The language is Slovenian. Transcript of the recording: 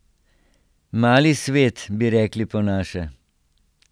Mali svet, bi rekli po naše.